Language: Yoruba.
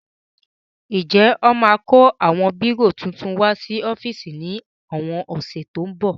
Ǹjẹ́ wọ́n máa kó àwọn bírò titun wá sí ọ́fíìsì ní àwọn ọ̀sẹ̀ tó ń bọ̀?